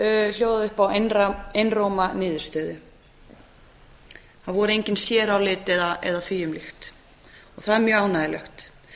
hljóðaði upp á einróma niðurstöðu það voru engin sérálit eða því um líkt og það er mjög ánægjulegt